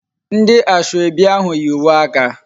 Ndi asoebi ahu yi uwe aka